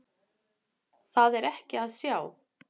Það er ekki að sjá.